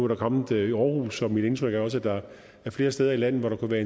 det kommet i aarhus og mit indtryk er også at der er flere steder i landet hvor der kunne være